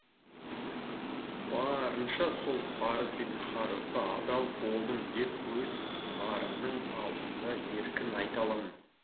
барынша сол парыз бен қарызға адал болдым деп өз арымның алдында еркін айта аламын